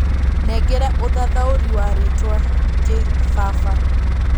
nengera ũthathaũri wa rĩtwa kĩbaba